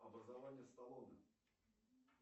образование сталлоне